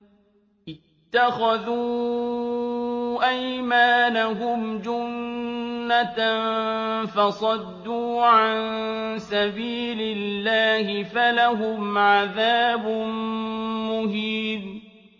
اتَّخَذُوا أَيْمَانَهُمْ جُنَّةً فَصَدُّوا عَن سَبِيلِ اللَّهِ فَلَهُمْ عَذَابٌ مُّهِينٌ